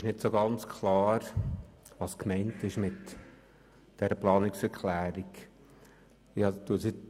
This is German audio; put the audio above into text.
Ich verstehe nicht ganz, was mit dieser Planungserklärung gemeint ist.